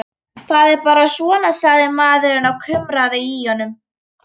Það er bara svona, sagði maðurinn og kumraði í honum.